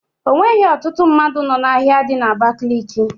Onweghi ọtụtụ mmadụ nọ n'ahia dị na Abakaliki.